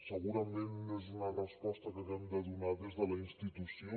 segurament no és una resposta que haguem de donar des de la institució